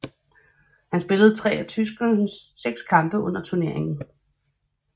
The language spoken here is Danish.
Han spillede tre af tyskernes seks kampe under turneringen